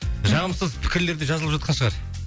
жағымсыз пікірлер де жазылып жатқан шығар